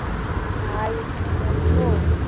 ভাই এখানে বলবো?